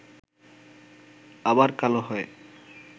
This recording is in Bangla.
আবার কালো হয়